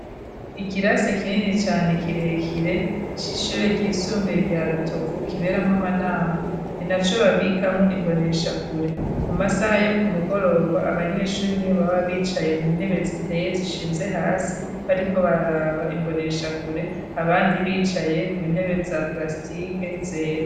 Ikirasi kinini cane kirekire c'ishuri ry'isumbire rya rutovu kiberamwo amanama ni naco babikamo imboneshakure mu masaha yo ku mugoroba abanyeshuri nibo baba bicaye mu ntebe ziteye zishinze hasi bariko baraba imboneshakure abandi bicaye ku ntebe za parastike zera.